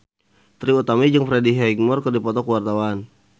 Trie Utami jeung Freddie Highmore keur dipoto ku wartawan